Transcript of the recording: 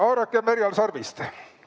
Haarakem härjal sarvist!